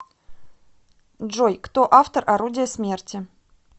джой кто автор орудия смерти